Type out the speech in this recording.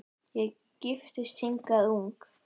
Ég giftist hingað ung